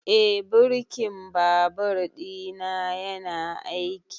Eh birkin babur ɗina yana aiki